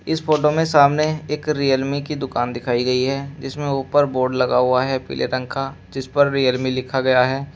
इस फोटो में सामने एक रियलमी की दुकान दिखाई गई है जिसमें ऊपर बोर्ड लगा हुआ है पीले रंग का जिस पर रियलमी लिखा गया है।